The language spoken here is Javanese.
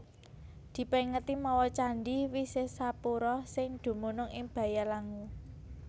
Dipèngeti mawa candhi Wisesapura sing dumunung ing Bayalangu